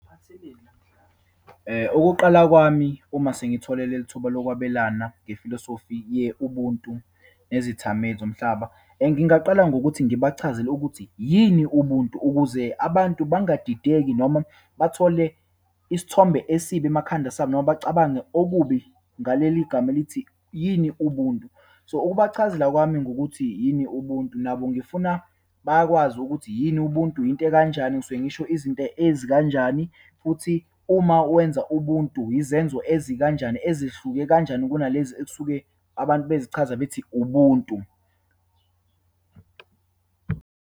Okokuqala kwami uma sengithole lelithuba lokwabelana ngefilosofi ye-ubuntu nezithameli zomhlaba. Ngingaqala ngokuthi ngibachazele ukuthi yini ubuntu, ukuze abantu bangadideki noma bathole isithombe esibi emakhanda sabo, noma bacabange okubi ngaleligama elithi, yini ubuntu. So, ukubachazela kwami ngokuthi yini ubuntu, nabo ngifuna bakwazi ukuthi yini ubuntu, yinto ekanjani, ngisuke ngisho izinto ezikanjani, futhi uma wenza ubuntu, izenzo ezikanjani, ezihluke kanjani kunalezi ekusuke abantu bezichaza bethi ubuntu.